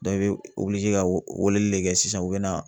i be ka weleli de kɛ sisan u bɛna